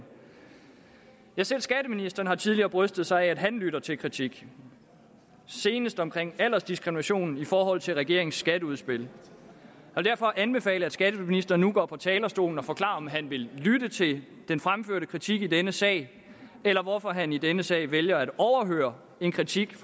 selv skatteministeren har tidligere brystet sig af at han lytter til kritik senest omkring aldersdiskriminationen i forhold til regeringens skatteudspil og derfor anbefaler jeg at skatteministeren nu går på talerstolen og forklarer om han vil lytte til den fremførte kritik i denne sag eller hvorfor han i denne sag vælger at overhøre en kritik